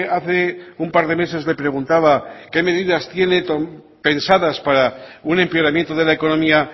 hace un par de meses le preguntaba qué medidas tiene pensadas para un empeoramiento de la economía